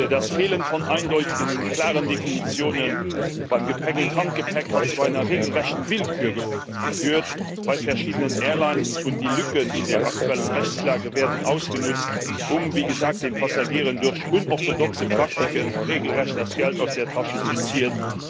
Das Fehlen von eindeutigen und klaren Definitionen beim Gepäck und Handgepäck hat zu einer regelrechten Willkür geführt bei verschiedenen Airlines, und die Lücken in der aktuellen Rechtslage werden ausgenutzt, um wie gesagt den Passagieren durch unorthodoxe Praktiken regelrecht das Geld aus der Tasche zu ziehen.